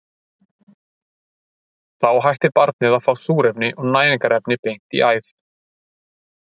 Þá hættir barnið að fá súrefni og næringarefni beint í æð.